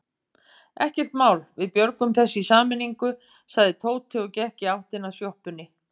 Ekkert mál, við björgum þessu í sameiningu sagði Tóti og gekk í áttina að sjoppunni.